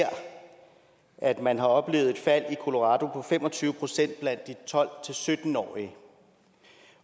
at man har oplevet et fald i colorado på fem og tyve procent blandt de tolv til sytten årige